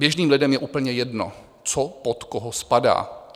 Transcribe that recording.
Běžným lidem je úplně jedno, co pod koho spadá.